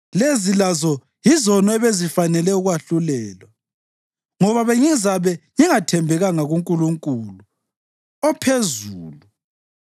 lezi lazo yizono ebezifanele ukwahlulelwa, ngoba bengizabe ngingathembekanga kuNkulunkulu ophezulu.